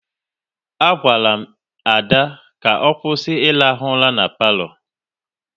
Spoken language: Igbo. A gwala m Ada ka ọ kwụsị ị rahụ ura n'palo